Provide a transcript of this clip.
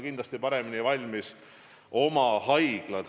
Kindlasti on paremini valmis haiglad.